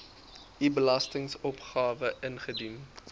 u belastingopgawe ingedien